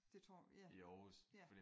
Det tror ja ja